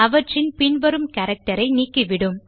அவற்றின் பின் வரும் கேரக்டர் ஐ நீக்கி விடும்